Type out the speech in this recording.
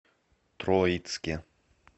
троицке